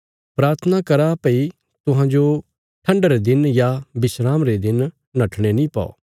प्राथना करा भई तुहांजो ठण्डा रे दिन या विस्राम रे दिन नट्ठणे नीं पौ